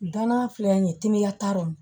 Danna filɛ nin ye teliya t'a rɔ